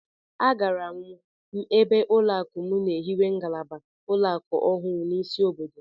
Agara m ebe ụlọakụ m na-ehiwe ngalaba ụlọakụ ọhụụ n'isi obodo